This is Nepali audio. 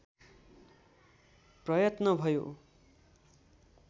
प्रयत्न भयो